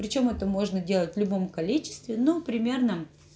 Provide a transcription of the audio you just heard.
причём это можно делать в любом количестве ну примерно